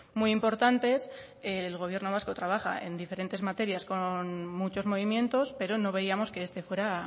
muy importantes el gobierno vasco trabaja en diferentes materias con muchos movimientos pero no veíamos que este fuera